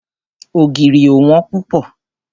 Ògìrì ò wón púpọ̀.